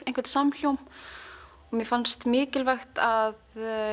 einhvern samhljóm mér fannst mikilvægt að